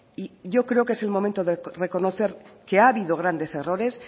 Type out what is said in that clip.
y yo creo que es el momento de reconocer que ha habido grandes errores